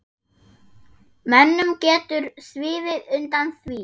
Mönnum getur sviðið undan því.